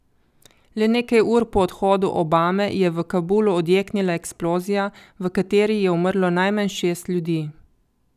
Le nekaj ur po odhodu Obame je v Kabulu odjeknila eksplozija, v kateri je umrlo najmanj šest ljudi.